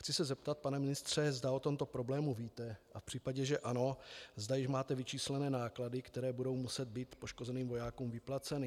Chci se zeptat, pane ministře, zda o tomto problému víte, a v případě, že ano, zda již máte vyčíslené náklady, které budou muset být poškozeným vojákům vyplaceny.